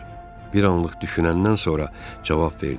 Bir anlıq düşünəndən sonra cavab verdim.